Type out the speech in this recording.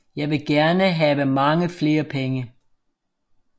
Jeg vil gerne have mange flere penge